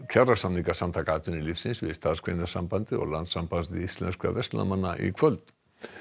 kjarasamninga Samtaka atvinnulífsins við Starfsgreinasambandið og Landssamband íslenskra verslunarmanna í kvöld